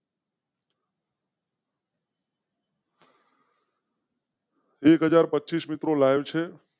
એક હાજર પચીસ મિત્રો લાઇવ છે.